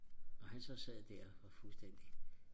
når han så sad der og fuldstændig